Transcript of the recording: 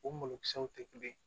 O malokisɛw tɛ kelen ye